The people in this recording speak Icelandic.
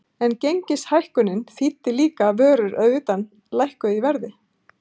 En gengishækkunin þýddi líka að vörur að utan lækkuðu í verði.